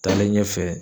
Taalen ɲɛfɛ